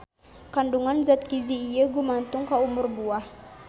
Kandungan zat giji ieu gumantung ka umur buah.